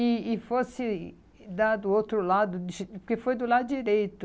e e fosse dar do outro lado, porque foi do lado direito.